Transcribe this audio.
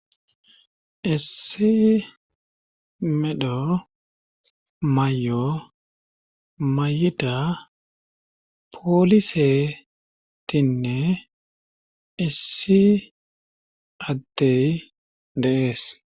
Issi medho may7o mayita poolisetinne issi adtey de7ees.